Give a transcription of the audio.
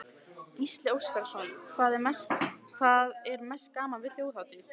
Gísli Óskarsson: Hvað er mest gaman við Þjóðhátíð?